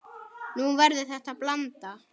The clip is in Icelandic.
Nú verður þetta blanda.